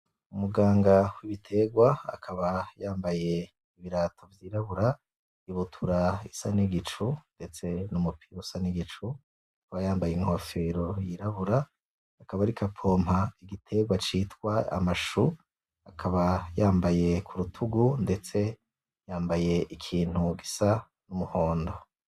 Umuganga w'ibiterwa akaba yambaye ibirato vyirabura, ibutura isa n'igicu ndetse n'umupira usa n'igicu, akaba yambaye inkofero yirabura, akaba ariko apompa igiterwa citwa ama choux, akaba yambaye kurutugu ndetse yambaye ikintu gisa n'umuhondo.